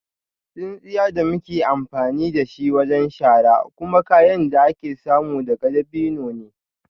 Tsintsiya da muke amfani da shi wajen shara kuma kayan da ake samu daga dabino ne